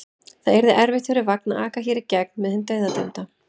Það yrði erfitt fyrir vagn að aka hér í gegn með hinn dauðadæmda.